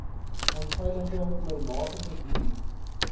onveilige oormatige duur